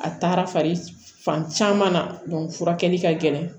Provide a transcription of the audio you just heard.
A taara fan caman na furakɛli ka gɛlɛn